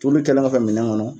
Tulu kɛlen kɔfɛ minɛn kɔnɔ